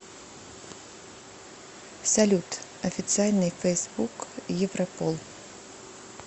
салют официальный фейсбук европол